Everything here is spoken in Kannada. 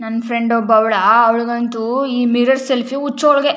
ನನ್ ಫ್ರೆಂಡ್ ಒಬ್ಬಳು ಅವಳಾ ಅವಳಿಗಂತೂ ಈ ಮಿರರ್ ಸೆಲ್ಫಿ ಹುಚ್ಚು ಅವಳಿಗೆ.